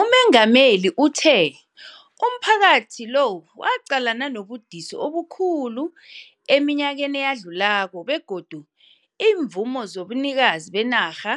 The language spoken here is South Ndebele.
UMengameli uthe umphakathi lo waqalana nobudisi obukhulu eminyakeni eyadlulako begodu iimvumo zobunikazi benarha